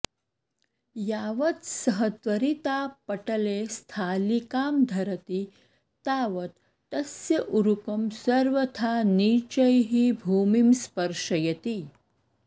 यावत् सः त्वरित्वा पटले स्थालिकां धरति तावत् तस्य ऊरुकं सर्वथा नीचैः भूमिं स्पर्शयति